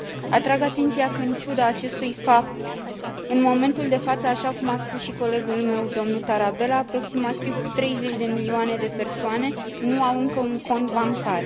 Atrag atenția că, în ciuda acestui fapt, în momentul de față, așa cum a spus și colegul meu, domnul Tarabella, aproximativ 30 de milioane de persoane nu au încă un cont bancar.